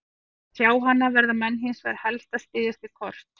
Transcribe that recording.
Til að sjá hana verða menn hins vegar helst að styðjast við kort.